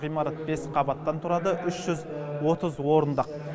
ғимарат бес қабаттан тұрады үш жүз отыз орындық